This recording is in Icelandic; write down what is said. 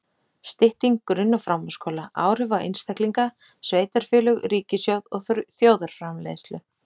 Stytting grunn- og framhaldsskóla: Áhrif á einstaklinga, sveitarfélög, ríkissjóð og þjóðarframleiðslu.